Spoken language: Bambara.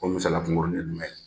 O misaliya kunkurunin ye jumɛn